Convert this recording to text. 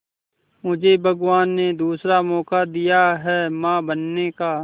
मुझे भगवान ने दूसरा मौका दिया है मां बनने का